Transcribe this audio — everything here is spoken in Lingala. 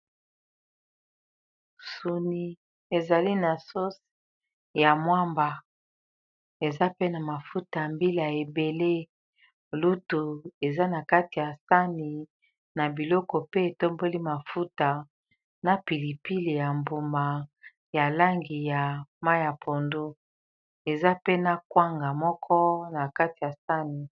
Suni ezali na sauce ya mwamba eza pe na mafuta mbila ebele lutu eza na kati ya sani na biloko pe etomboli mafuta na pilipili ya mbuma ya langi ya mayi ya pondu eza pe na kwanga moko na kati ya sani.